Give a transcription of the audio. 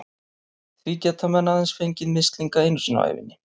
Því geta menn aðeins fengið mislinga einu sinni á ævinni.